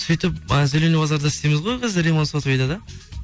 сөйтіп ы зеленый базарда істейміз ғой ремонт сотовыйда да